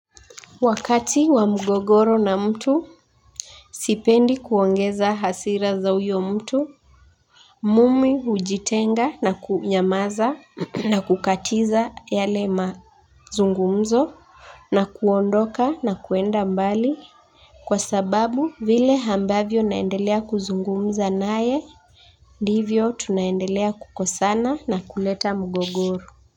Wakati wa mgogoro na mtu sipendi kuongeza hasira za huyo mtu. Mimi hujitenga na kunyamaza na kukatiza yale mazungumzo. Na kuondoka na kuenda mbali. Kwa sababu vile ambavyo naendelea kuzungumza naye ndivyo tunaendelea kukosana na kuleta mgogoro.